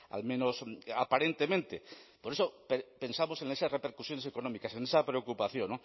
al menos aparentemente por eso pensamos en esas repercusiones económicas en esa preocupación